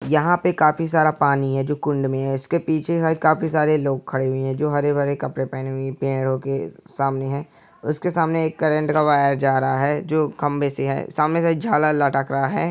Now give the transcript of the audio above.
यहाँ पे काफ़ी सारा पानी है जो कुंड में है उसके पीछे काफ़ी सारे लोग खड़े हुए हैं जो हरे-भरे कपड़े पहने हुए पेड़ो के सामने है उसके सामने करंट का वायर जा रहा है जो खंबे से है सामने से एक जाला लटक रहा है।